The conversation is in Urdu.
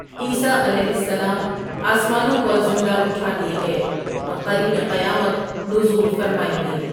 عيسٰي عليہ السلام اسمانوں پر زندہ اٹھالۓ گۓ اور قریب قیامت نزول فرمائیں گے.